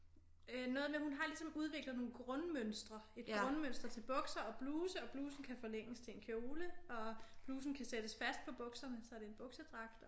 Øh noget med hun har ligesom udviklet nogle grundmønstre et grundmønster til bukser og bluse og blusen kan forlænges til en kjole og blusen kan sættes fast på bukserne så det er en buksedragt